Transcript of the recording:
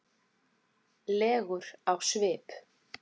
legur á svip.